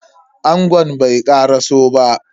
Angon bai karaso ba.